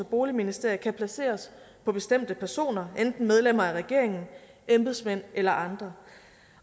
boligministerium kan placeres på bestemte personer enten medlemmer af regeringen embedsmænd eller andre